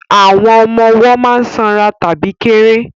Àwọn ọmọ ọwọ́ má ń sanra tàbí kéré